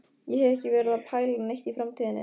Ég hef ekki verið að pæla neitt í framtíðinni.